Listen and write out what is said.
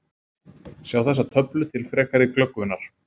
Sjá þessa töflu til frekari glöggvunar: